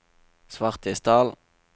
Svartisdal